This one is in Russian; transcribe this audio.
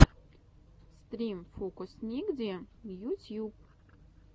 стрим фокусникди ютьюб